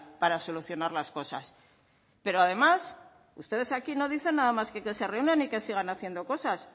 para solucionar las cosas pero además ustedes aquí no dicen nada más que se reúnan y sigan haciendo cosas